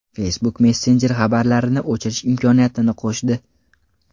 Facebook Messenger xabarlarni o‘chirish imkoniyatini qo‘shdi.